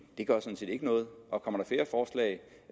det gør sådan set ikke noget og kommer